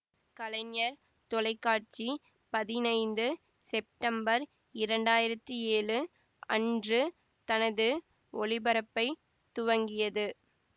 கலைஞர் தொலைக்காட்சி பதினைந்து செப்டம்பர் இரண்டாயிரத்தி ஏழு அன்று தனது ஒளிபரப்பைத் துவக்கியது